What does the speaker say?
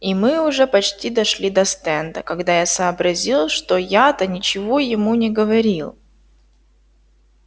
и мы уже почти дошли до стенда когда я сообразил что я-то ничего ему не говорил